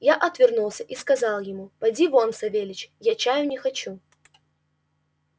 я отвернулся и сказал ему поди вон савельич я чаю не хочу